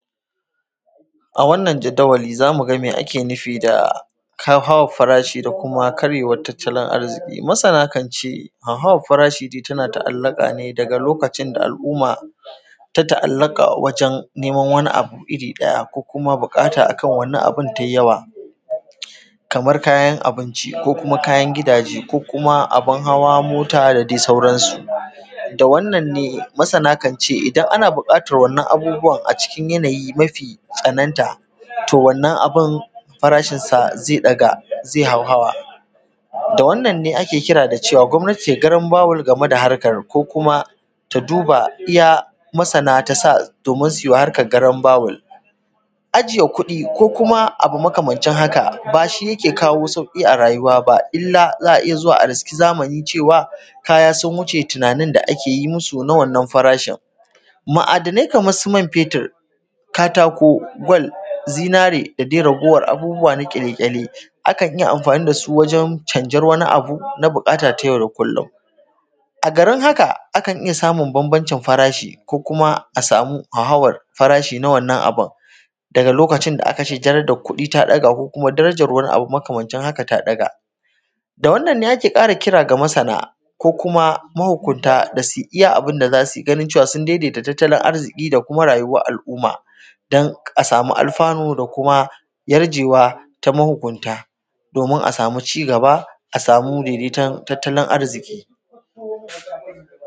A wannan jadawali za mu ga me ake nufi da hauhawar farashi da kuma karyewar arziki. Masan kan ce, hauhawar farashi tana ta'allaka ne lokacin da alumma ta ta'allaka wajen neman wani abu irin ɗaya ko kuma buƙata a kan wannan abu ta yi yawa, kamar kayan abinci ko kuma kayan hidaje ko kuma abun hawa mota da sauransu. Da wannan ne masan kan ce idan har ana buƙatar wann abu a ciki yanayin mafi tsananta to wannan abun farashinsa zai ɗaga zai hauhawa. Da wannan ne ke kira da cewa gwamnati ta yi garanbawul game da harkar ko kum ta duba iya msana ta sa su yi wa harkar garanbawul. A jiye kuɗi ko kuma abu makamancin haka shi yake kawo sauƙi a rayuwa, ba illa za a iya zuwa a riski zamani cewa sun wuce tunanin da ake yi musu na wannan farashin. Ma'adanai kamar su man fetur, katako, kwal, zinare da dai raguwar abubuwa na ƙwale-ƙwale akan yi amfani da shi na canjar wani abu na buƙata ta yau da kullum, akan iya samun bambancin farashi ko kuma a samu hauhawan farashi na wannan abun, daga lokaci da da aka ce darajar kuɗi ta ɗaga ko darajar wani abu makamancin haka ta ɗaga. Da wannan ne ake kara kiran masana kuma mahukunta da su ui iya abunda za su iya ganin cewa su ln daidaita tattalin arziki da kuma rayuwar al'umma don a sama alfanu da kuma yarjewa ta mahukunta domin a samu ci gaba a samu daidaiton tattalin arziki.